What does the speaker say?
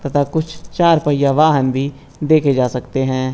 कुछ चार पहिया वाहन भी देखे जा सकते हैं।